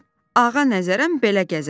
Ağa nəzərəm, belə gəzərəm.